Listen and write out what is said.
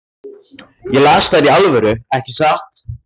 Ég las þær í alvöru, ekki satt?